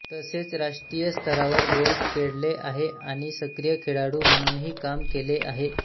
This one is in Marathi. तसेच राष्ट्रीय स्तरावर गोल्फ खेळले आहे आणि सक्रिय खेळाडू म्हणूनही काम केले आहे